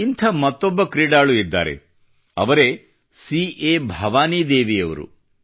ಇಂಥ ಮತ್ತೊಬ್ಬ ಕ್ರೀಡಾಪಟು ಇದ್ದಾರೆ ಅವರೇ ಸಿ ಎ ಭವಾನಿದೇವಿಯವರು